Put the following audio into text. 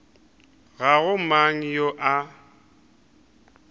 ga go mang yo a